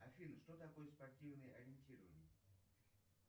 афина что такое спортивное ориентирование